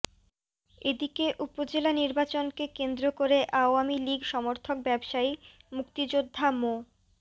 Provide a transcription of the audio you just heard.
এদিকে উপজেলা নির্বাচনকে কেন্দ্র করে আওয়ামী লীগ সমর্থক ব্যবসায়ী মুক্তিযোদ্ধা মো